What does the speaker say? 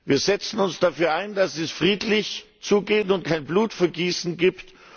Wir setzen uns dafür ein, dass es friedlich zugeht und es kein Blutvergießen gibt.